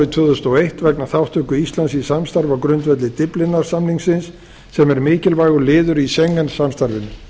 tvö þúsund og eitt vegna þátttöku íslands í samstarfi á grundvelli dyflinnar samningsins sem er mikilvægur liður í schengen samstarfinu